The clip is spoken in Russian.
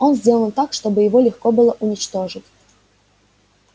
он сделан так чтобы его легко было уничтожить